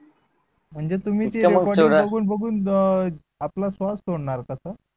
म्हणजे तुम्ही ते recording बगून बगून अं आपला स्वास सोडणार का तो?